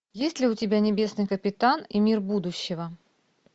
есть ли у тебя небесный капитан и мир будущего